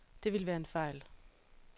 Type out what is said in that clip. Det ville være en fejl.